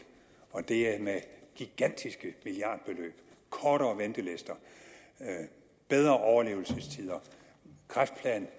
og det er med gigantiske milliardbeløb kortere ventelister bedre overlevelsestider kræftplan